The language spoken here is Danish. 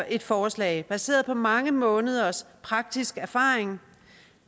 et forslag baseret på mange måneders praktisk erfaring